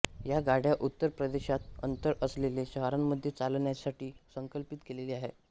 या गाड्या उत्तर प्रदेशात अंतर असेलेल्या शहरांमध्ये चालण्यासाठी संकल्पित केलेल्या आह